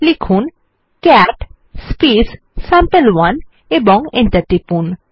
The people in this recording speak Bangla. লিখুন ক্যাট সাম্পে1 এবং এন্টার টিপুন